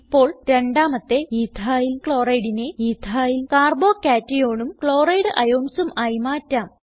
ഇപ്പോൾ രണ്ടാമത്തെ EthylChlorideനെ എത്തിൽ Carbo cationഉം ക്ലോറൈഡ് ionsഉം ആയി മാറ്റാം